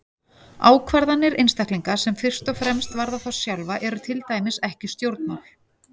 Ákvarðanir einstaklinga sem fyrst og fremst varða þá sjálfa eru til dæmis ekki stjórnmál.